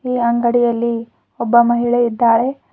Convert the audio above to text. ಈ ಅಂಗಡಿಯಲ್ಲಿ ಒಬ್ಬ ಮಹಿಳೆ ಇದ್ದಾರೆ.